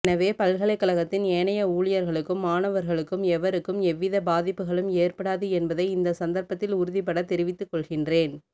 எனவே பல்கலைக்கழகத்தின் ஏனைய ஊழியர்களுக்கும் மாணவர்களுக்கும் எவருக்கும் எவ்வித பாதிப்புகளும் ஏற்படாது என்பதை இந்த சந்தர்ப்பத்தில் உறுதிபட தெரிவித்துக் கொள்கின்றேன்